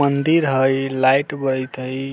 मंदिर हई लाइट बरइत हई